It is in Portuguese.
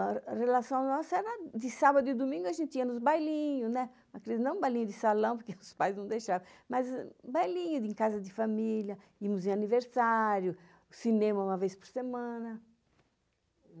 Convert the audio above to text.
A relação nossa era de sábado e domingo a gente ia nos bailinhos, não bailinho de salão, porque os pais não deixavam, mas bailinho em casa de família, íamos em aniversário, cinema uma vez por semana.